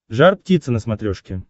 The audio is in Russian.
жар птица на смотрешке